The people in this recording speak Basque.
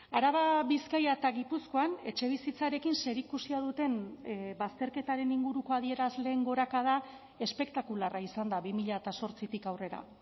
araba bizkaia eta gipuzkoan etxebizitzarekin zerikusia duten bazterketaren inguruko adierazleen gorakada espektakularra izan da bi mila zortzitik aurrera